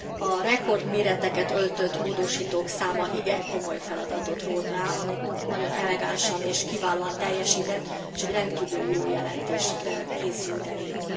A rekordméreteket öltött módosítók száma igen komoly feladatot rótt rá, amit nagyon elegánsan és kiválóan teljesített, és egy rendkívül jó jelentés készült el így.